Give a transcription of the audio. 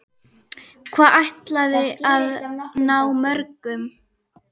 Hvað ætliði að ná mörgum?